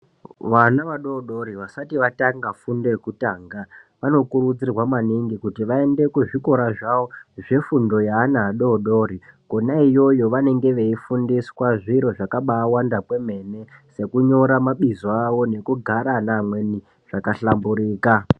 Vana vadodori vasati vatanga fundo yokutanga vanokurudzirwa maningi kuti vaende kuzvikora zvawo zvefundo yeana adodori kona iyoyo vanenge veifundiswa zviro zvakawanda kwemene sekunyora mabizo awo nekugara ana amweni zvakahlamburika.